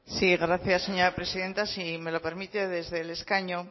sí gracias señora presidenta si me lo permite desde el escaño